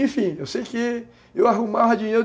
Enfim, eu sei que eu arrumava dinheiro.